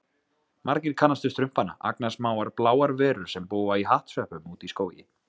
Margir kannast við Strumpana, agnarsmáar bláar verur sem búa í hattsveppum úti í skógi.